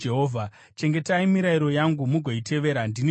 “Chengetai mirayiro yangu mugoitevera. Ndini Jehovha.